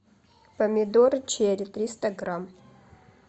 помидоры черри триста грамм